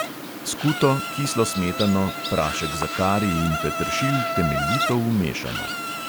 Skuto, kislo smetano, prašek za kari in peteršilj temeljito umešamo.